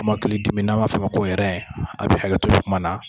Kɔmɔkilidimi n'an m'a f'a ma ko a bɛ hakɛ to nin kuman na,